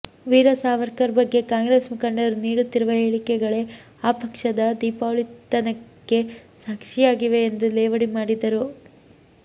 ವೀರ ಸಾವರ್ಕರ್ ಬಗ್ಗೆ ಕಾಂಗ್ರೆಸ್ ಮುಖಂಡರು ನೀಡುತ್ತಿರುವ ಹೇಳಿಕೆಗಳೇ ಆ ಪಕ್ಷದ ದಿವಾಳಿತನಕ್ಕೆ ಸಾಕ್ಷಿಯಾಗಿವೆ ಎಂದು ಲೇವಡಿ ಮಾಡಿದರು